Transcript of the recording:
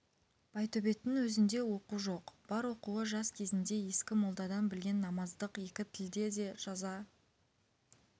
байтөбеттің өзінде оқу жоқ бар оқуы жас кезінде ескі молдадан білген намаздық екі тілде де жаза